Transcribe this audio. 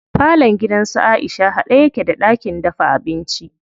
Falon gidan su Aisha haɗe yake da ɗakin dafa abinci.